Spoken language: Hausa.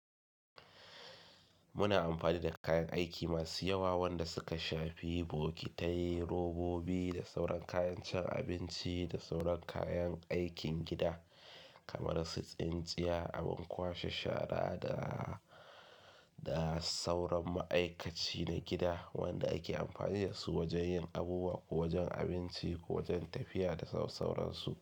Muna amfani da kayan aiki masu yawa wanda suka shafi bokitai, robobi da sauran kayan cin abinci da sauran kayan aikin gida kamar su tsintsiya, abin kwashe shara da, da sauran ma'aikaci na gida wanda ake amfani da su wajen yin abubuwa ko wajen abinci ko wajen tafiya da saurayansu.